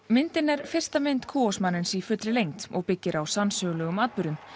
myndin er fyrsta mynd Kuosmanens í fullri lengd og byggir á sannsögulegum atburðum